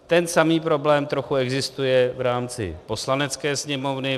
Ten samý problém trochu existuje v rámci Poslanecké sněmovny.